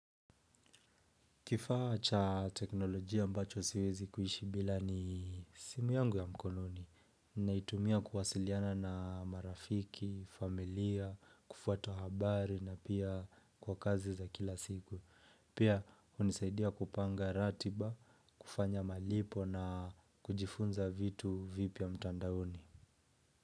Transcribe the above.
Kifaa cha teknolojia ambacho siwezi kuishi bila ni simu yangu ya mkononi. Naitumia kuwasiliana na marafiki, familia, kufuata habari na pia kwa kazi za kila siku. Pia unisaidia kupanga ratiba, kufanya malipo na kujifunza vitu vipya mtandaoni.